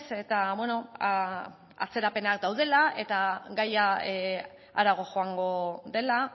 eta bueno atzerapenak daudela eta gaia haratago joango dela